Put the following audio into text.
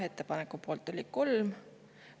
Ettepaneku poolt oli 3 …